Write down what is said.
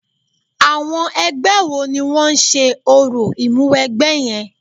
Àwọn ẹgbẹ́ wo ni wọ́n ń ṣe orò Ìmúwẹgbẹ́ yẹn?